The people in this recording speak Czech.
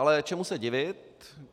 Ale čemu se divit?